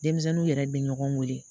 Denmisɛnninw yɛrɛ bɛ ɲɔgɔn weele